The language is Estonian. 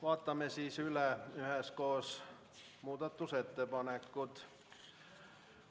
Vaatame üheskoos üle muudatusettepanekud.